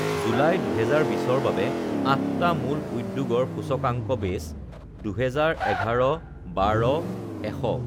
July, ২০২০ৰ বাবে আঠটা মূল উদ্যোগৰ সূচকাংক বেছঃ ২০১১ ১২ ১০০